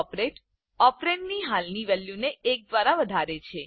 operator ઓપરેન્ડની હાલની વેલ્યુને એક દ્વારા વધારે છે